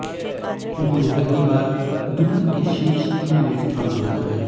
उन्होंने पहली बार दुनिया के शीर्ष तीन में स्थान बनाया है